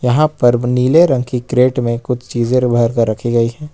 यहां पर नीले रंग की क्रेट में कुछ चीज भर कर रखी गई है।